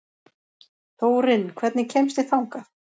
Þórinn, hvernig kemst ég þangað?